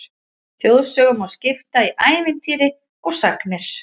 Þjóðsögum má skipta í ævintýri og sagnir.